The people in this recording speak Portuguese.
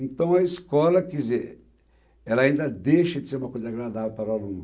Então, a escola, quer dizer, ela ainda deixa de ser uma coisa agradável para o aluno.